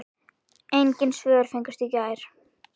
Engin svör fengust í gær.